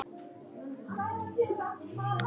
Aftur á móti ansaði hinn